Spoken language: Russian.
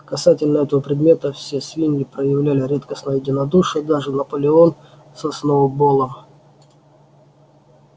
касательно этого предмета все свиньи проявили редкостное единодушие даже наполеон со сноуболлом